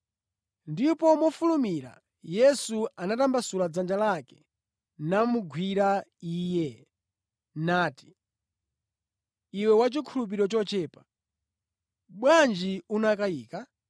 Ndipo mofulumira Yesu anatambasula dzanja lake namugwira iye, nati, “Iwe wachikhulupiriro chochepa, bwanji unakayika?”